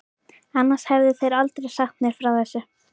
Annars hefðu þeir aldrei sagt mér frá þessu.